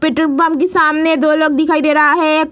petrol pump के सामने दो लोग दिखाई दे रहा है एक --